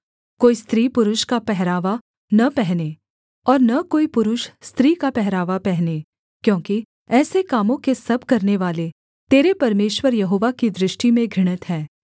कोई स्त्री पुरुष का पहरावा न पहने और न कोई पुरुष स्त्री का पहरावा पहने क्योंकि ऐसे कामों के सब करनेवाले तेरे परमेश्वर यहोवा की दृष्टि में घृणित हैं